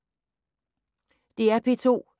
DR P2